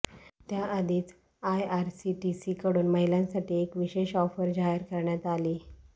त्याआधीच आयआरसीटीसी कडून महिलांसाठी एक विशेष ऑफर जाहीर करण्यात आलीय